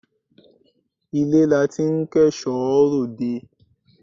Ilé la ti ń kẹ́ṣọ̀ọ́ ròde.